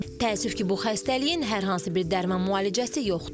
Təəssüf ki, bu xəstəliyin hər hansı bir dərman müalicəsi yoxdur.